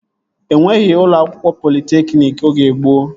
Enweghị ụlọ akwụkwọ politekniki oge gboo